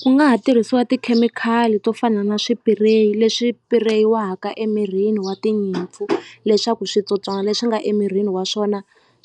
Ku nga ha tirhisiwa tikhemikhali to fana na swipireyi leswi pireyiwaka emirini wa tinyimpfu leswaku switsotswana leswi nga emirini wa swona